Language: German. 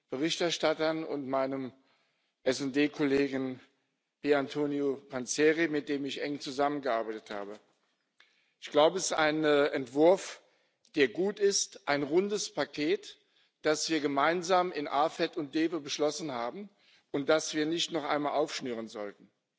Berichterstattern und meinem SD Kollegen Antonio Panzeri, mit dem ich eng zusammengearbeitet habe. Ich glaube, es ist ein Entwurf, der gut ist, ein rundes Paket, das wir gemeinsam in den Ausschüssen AFET und DEVE beschlossen haben und das wir nicht noch einmal aufschnüren sollten.